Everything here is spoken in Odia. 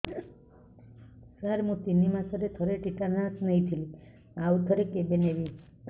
ସାର ମୁଁ ତିନି ମାସରେ ଥରେ ଟିଟାନସ ନେଇଥିଲି ଆଉ ଥରେ କେବେ ନେବି